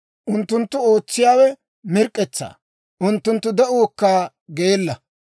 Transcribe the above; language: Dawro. Unttunttu ootsiyaawe mirk'k'etsaa; unttunttu de'uukka geella.